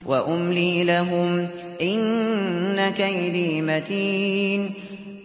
وَأُمْلِي لَهُمْ ۚ إِنَّ كَيْدِي مَتِينٌ